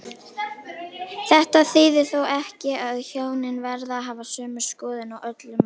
Þetta þýðir þó ekki að hjónin verði að hafa sömu skoðun á öllum málum.